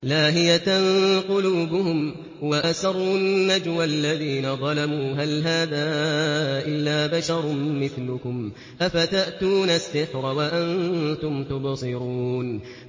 لَاهِيَةً قُلُوبُهُمْ ۗ وَأَسَرُّوا النَّجْوَى الَّذِينَ ظَلَمُوا هَلْ هَٰذَا إِلَّا بَشَرٌ مِّثْلُكُمْ ۖ أَفَتَأْتُونَ السِّحْرَ وَأَنتُمْ تُبْصِرُونَ